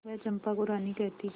वह चंपा को रानी कहती